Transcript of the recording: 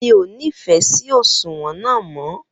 Mi o ni fẹ sí òṣùwọ̀n náà mọ